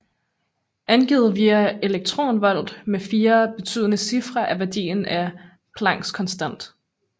Angivet via elektronvolt med fire betydende cifre er værdien af Plancks konstant